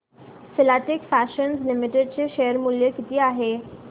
Filatex Fashions Limited चे share मूल्य किती आहे